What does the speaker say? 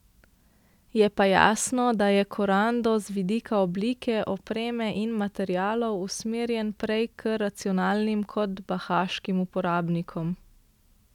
Je pa jasno, da je korando z vidika oblike, opreme in materialov usmerjen prej k racionalnim kot bahaškim uporabnikom.